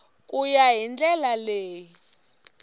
ku ya hi ndlela leyi